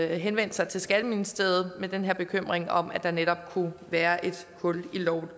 henvendt sig til skatteministeriet med den her bekymring om at der netop kunne være et hul i loven